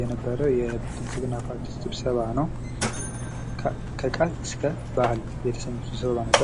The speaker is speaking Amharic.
የነበረ የብልጽግና ፓርቲ ስብሰባ ነው። ከቃል እስከ ባህል የተሰኘ ስብሰባ ነበር።